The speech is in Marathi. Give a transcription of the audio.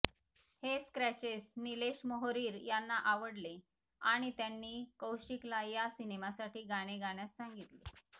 हे क्रॅचेस निलेश मोहरीर यांना आवडले आणि त्यांनी कौशिकला या सिनेमासाठी गाणे गाण्यास सांगितले